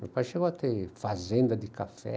Meu pai chegou a ter fazenda de café.